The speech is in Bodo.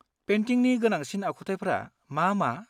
-पेन्टिंनि गोनांसिन आखुथायफ्रा मा मा?